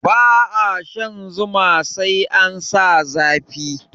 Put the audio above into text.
Ba a shan zuma sai an sa zafi